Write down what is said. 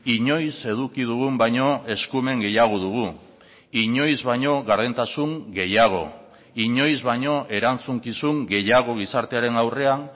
inoiz eduki dugun baino eskumen gehiago dugu inoiz baino gardentasun gehiago inoiz baino erantzukizun gehiago gizartearen aurrean